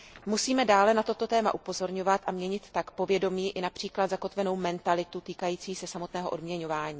Musíme dále na toto téma upozorňovat a měnit tak například v povědomí zakotvenou mentalitu týkající se samotného odměňování.